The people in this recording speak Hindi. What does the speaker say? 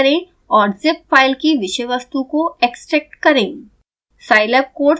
राइटक्लिक करें और zip फाइल कि विषय वस्तु को एक्सट्रैक्ट करें